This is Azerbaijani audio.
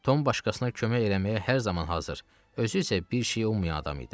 Tom başqasına kömək eləməyə hər zaman hazır, özü isə bir şeyi ummayan adam idi.